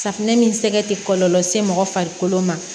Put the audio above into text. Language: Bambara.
Safunɛ min sɛgɛ tɛ kɔlɔlɔ se mɔgɔ farikolo ma